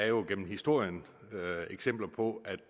jo gennem historien set eksempler på at